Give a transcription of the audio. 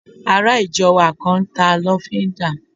Ará ìjọ wa kan n ta lọ́fíndà